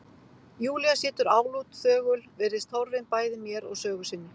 Júlía situr álút, þögul, virðist horfin bæði mér og sögu sinni.